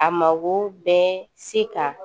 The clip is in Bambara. A mago bɛ se ka